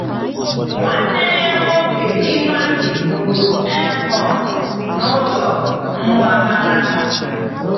Nwanne ya nwoke Ifeanyi gburu Amnon n’ụzọ mgbaghara.